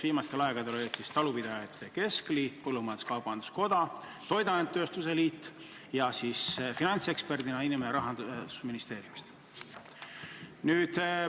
Viimastel aegadel on need olnud talupidajate keskliit, põllumajandus-kaubanduskoda ja toiduainetööstuse liit, finantseksperdina on nõukogus olnud inimene Rahandusministeeriumist.